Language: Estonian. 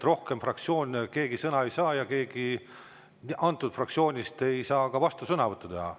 Rohkem fraktsioonist keegi sõna ei saa ja keegi sellest fraktsioonist ei saa ka vastusõnavõttu teha.